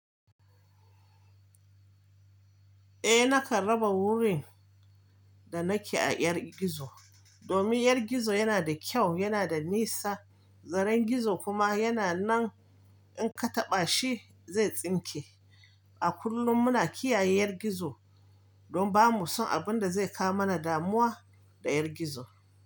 Eh nakan raba wurin da nake a ƴar gizo, domin ƴar gizo yana da kyau, yana da nisa, zaren gizo kuma yana nan in ka taɓa shi zai tsinke. A kullum muna kiyaye ƴar gizo don ba mu son abun da zai kawo mana damuwa da ƴar gizo.